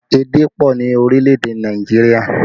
Èdè pọ ni orílẹ̀ èdè Nàìjíríà